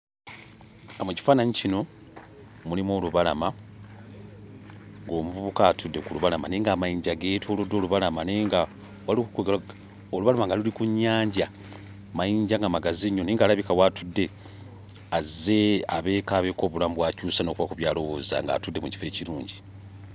Mu kifaananyi kino mulimu olubalama, ng'omuvubuka atudde ku lubalama naye ng'amayinja geetooloddwa olubalama naye nga waliwo kwe ggamba olubalama nga luli ku nnyanja; amayinja nga magazi nnyo naye ng'alabika w'atudde azze ebeeko abeeko obulamu bw'akyusa n'okubaako by'alowooza ng'atudde mu kifo ekirungi.